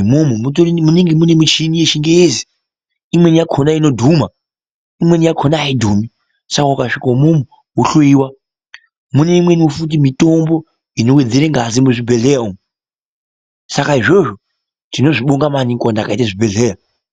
umwomwo munenge mune michini yechingezi imweni yakona inodhuma imweni yakona aidhumi saka ukasvika imwomwo wohloyiwa mune imweniwo futi mitombo inowedzera ngazi muzvibhedhlera umwo saka 8zvozvo tinozvibonga maniningi vantu vakaite zvibhedhlera.